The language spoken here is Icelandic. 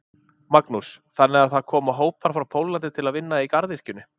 Magnús: Þannig að það koma hópar frá Póllandi til að vinna í garðyrkjunni?